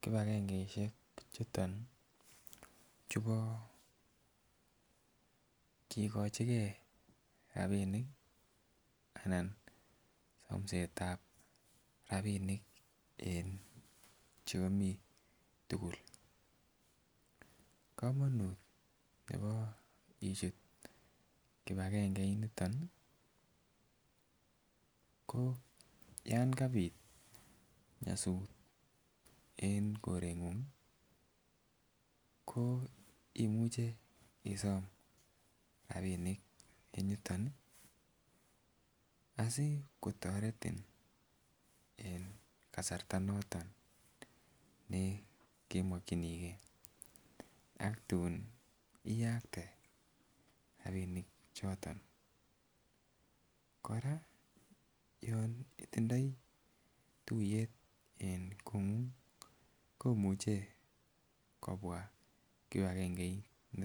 kipagengeishek chuton chubo kikochigee rabinik anan somsetab rabinik en che omii tukuk. Komonut nebo ichut kipagengeit niton nii ko yon kabit nyosut en korengung ko imuche isom rabinik en yoton asikotoreti en kasarta noton nekemoginigee ak tun iyakte rabinik choton. Koraa yon itindoi tuyet en kongung komuche kobwa kipagengeit niton